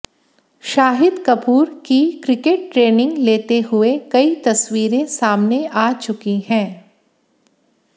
शाहिद कपूर की cricket training लेते हुए कई तस्वीरें सामने आ चुकी हैं